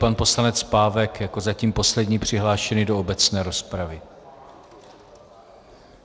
Pan poslanec Pávek jako zatím poslední přihlášený do obecné rozpravy.